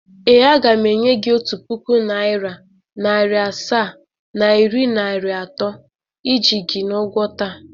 Ee, aga m enye gị otu puku naịra, naịra asaa na iri naịra atọ iji gị n’ụgwọ taa